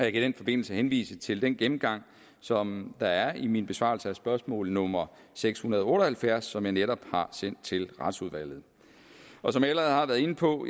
i den forbindelse henvise til den gennemgang som der er i min besvarelse af spørgsmål nummer seks hundrede og halvfjerds som jeg netop har sendt til retsudvalget som jeg allerede har været inde på